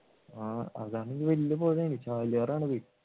ആഹ് അതാണെങ്കിൽ വല്യ പുഴയല്ലേ ചാലിയാർ ആണ്